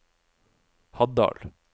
Haddal